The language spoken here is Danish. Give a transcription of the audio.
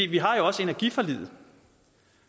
vi har jo også energiforliget